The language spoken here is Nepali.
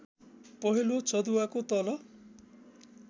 पहेँलो चँदुवाको तल